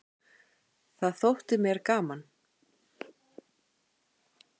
Það þótti mér gaman.